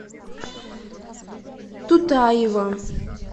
тутаева